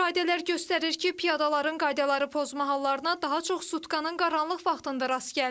Müşahidələr göstərir ki, piyadaların qaydaları pozma hallarına daha çox sutkanın qaranlıq vaxtında rast gəlinir.